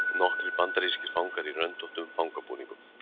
nokkrir bandarískir fangar í röndóttum fangabúningum